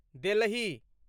Delhi